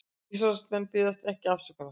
Ísraelsmenn biðjast ekki afsökunar